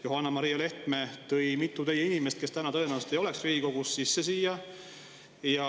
Johanna-Maria Lehtme tõi siia sisse mitu inimest, kes täna tõenäoliselt ei oleks Riigikogus.